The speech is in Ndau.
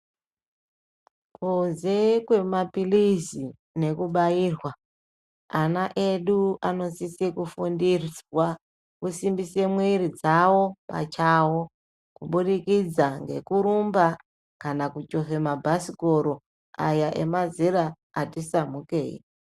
Kunze kwemapirizi nekubairwa ana edu anosisa kufundiswa kusimbisa mwiri dzawo pachawo kuburikidza ngekurumba Kana kuchivha mabhasikoro awa emazera atinsamukei.